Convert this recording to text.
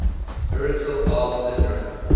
irritable bowel syndrome